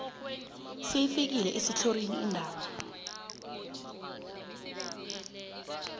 seyifike esithlorini indaba